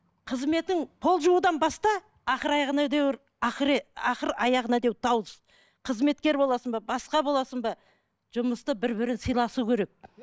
қызметің пол жуудан баста ақыр аяғына ақыр аяғына қызметкер боласың ба басқа боласың ба жұмыста бір бірін сыйласу керек